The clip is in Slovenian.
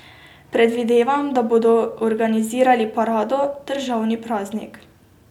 Predvidevam, da bodo organizirali parado, državni praznik.